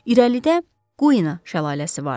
İrəlidə Quina şəlaləsi vardı.